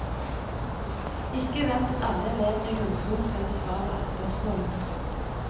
Ikke vent at alle elevene i grunnskolen skal besvare alle spørsmålene.